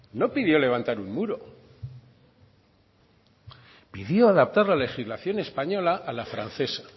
no pidió levantar un muro pidió adaptar la legislación española la francesa